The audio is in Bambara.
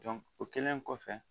o kɛlen kɔfɛ